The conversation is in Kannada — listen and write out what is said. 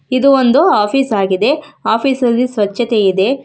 ಇದು ಒಂದು ಆಫೀಸ್ ಆಗಿದೆ ಆಫೀಸಲ್ಲಿ ಸ್ವಚ್ಛತೆ ಇದೆ.